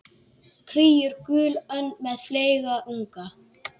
Kríur, gulönd með fleyga unga.